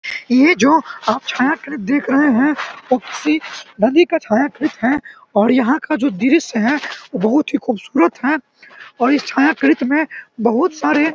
ये जो आप छायाकृत देख रहे हैं वो किसी नदी का छायाकृत है और यहाँ का जो दृश्य है वो बहुत ही खूबसूरत है और इस छायाकृत में बहुत सारे --